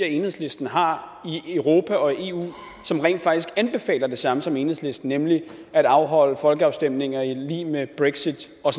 enhedslisten har i europa og i eu som rent faktisk anbefaler det samme som enhedslisten nemlig at afholde folkeafstemninger i lighed med brexit og